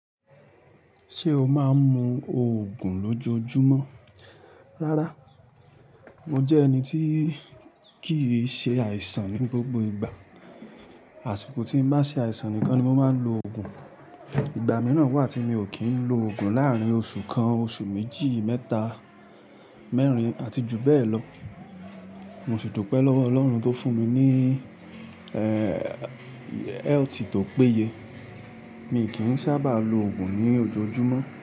Ṣé o máa ń mu Ògùn lójoojúmọ́? Rárá, mo jẹ́ ẹni tí kì í ṣe àìsàn ní gbogbo ìgbà. Àsìkò tí mo bá ṣe àìsàn nìkan ni mo máa ń lo ògùn. Ìgbà mìíràn wà tí mi ò kí ń lo ògùn láàrín oṣù kan, oṣù méjì, mẹ́ta, mẹ́rin àti jù bẹ́ẹ̀ lọ. Mo sì dúpẹ́ lọ́wọ́ Ọlọ́run tó fún mi ní, eéé, health tó péye. Mi kì í sábà lo ògùn ní ojoojúmọ́